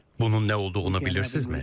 Bunun nə olduğunu bilirsizmi?